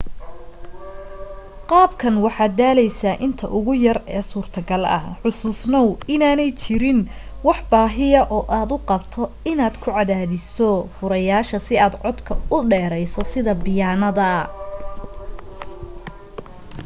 qaabkan waxaad daaleysaa inta ugu yare e suurtogal ah xasuusnoow inaanay jirin wax baahiya oo aad u qabto inaad ku cadaadiso furayaasha si aad codka u dheerayso sida biyaanada